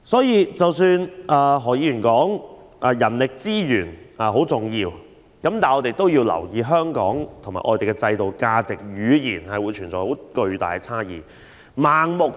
因此，即使何議員說人力資源很重要，也要留意香港和外地在制度、價值、語言上存在的巨大差異。